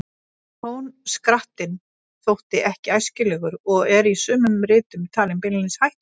Tónskrattinn þótti ekki æskilegur og er í sumum ritum talinn beinlínis hættulegur.